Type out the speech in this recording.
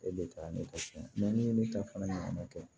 E de ka ne ka tiɲɛ ni ne ta fana nana kɛ